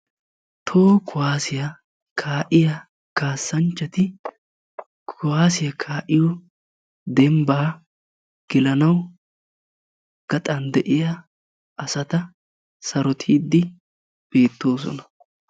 toho kuwaasiya kaa'iya kaassanchchati kaa'iyo dembbaa gelanawu gaxan de'iya asata sarotiiddi beettoosona.